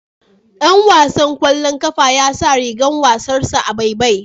Ɗan wasan kwallon kafa ya sa rigan wasansa a baibai.